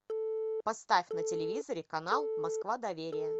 поставь на телевизоре канал москва доверие